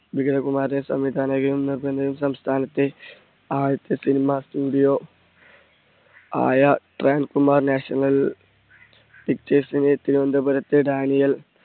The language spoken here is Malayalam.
വിഗതകുമാരനെ സംസ്ഥാനത്തെ ആദ്യത്തെ cinema studio ആയ Kumar national pictures തിരുവന്തപുരത്തെ ഡാനിയേൽ